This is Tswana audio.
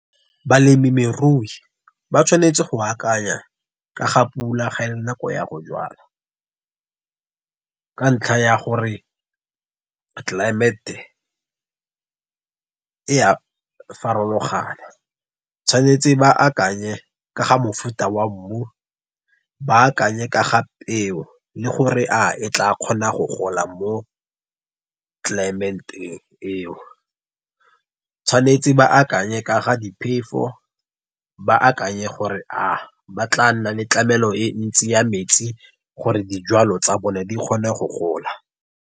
Balemirui ba tshwanetse go akanya ka ga pula ga e le nako ya go jwala. Ka ntlha ya gore climante e a farologana. Tshwanetse ba akanye ka ga mofuta wa mmu, ba akanye ka ga peo, le gore a e tla kgona go gola mo eo. Tshwanetse ba akanye ka ga diphefo, ba akanye gore a ba tla nna le tlamelo e ntsi ya metsi, gore dijalo tsa o ne di kgone go gola.